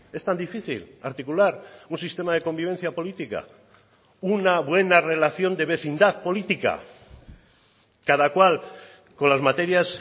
es tan difícil articular un sistema de convivencia política una buena relación de vecindad política cada cual con las materias